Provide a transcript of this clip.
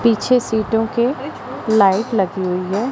पीछे सीटों के लाइट लगी हुई है।